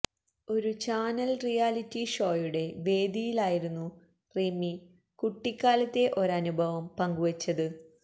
ഒരു channel reality ഷോയുടെ വേദിയിലായിരുന്നു റിമി കുട്ടിക്കാലത്തെ ഒരനുഭവം പങ്കുവച്ചത്